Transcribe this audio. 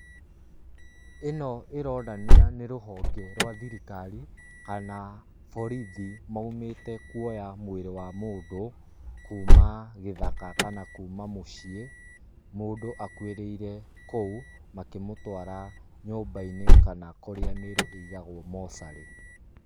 ĩno ĩronania nĩ rũhonge rwa thirikari kana borithi maumĩte kuoya mwĩrĩ wa mũndũ kuma gĩthaka kana kuma mũciĩ, mũndũ akuĩrĩire kũu makĩmũtwara nyũmba-inĩ kana kũrĩa mĩĩrĩ igagwo mocarĩ.